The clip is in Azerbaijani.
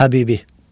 Həbibi.